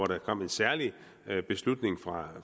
der kom en særlig beslutning fra